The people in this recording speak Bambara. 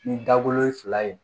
Ni dagolo ye fila ye